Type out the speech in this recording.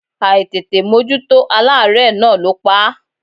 Àìtètè mójútó aláárẹ̀ náà ló pa á.